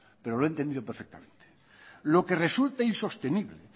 pero lo he entendido perfectamente lo que resulta insostenible